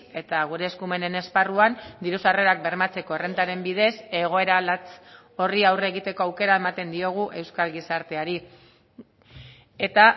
eta gure eskumenen esparruan diru sarrerak bermatzeko errentaren bidez egoera latz horri aurre egiteko aukera ematen diogu euskal gizarteari eta